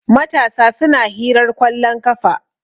matasa suna hirar kwallon kafa